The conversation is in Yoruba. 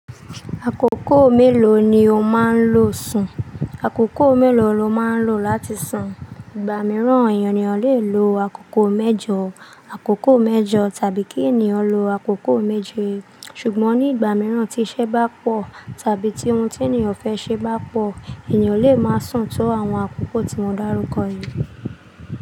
Àkókò mélòó ni o máa ń lo sùn? Àkókò mélòó lo máa ń lo láti sùn? Igba mìíràn ènìyàn le lo àkókò mẹ́jọ̀, àkókò mẹ́jọ tàbí kí ènìyàn lo àkókò méje. Ṣùgbọ́n ní ìgbà mìíràn tí iṣẹ́ bá pọ̀ tàbí ti ohun tí ènìyàn fẹ́ ṣe bá pọ̀, ènìyàn le máa sùn tó àwọn àkókò tí mo dárúkọ yìí.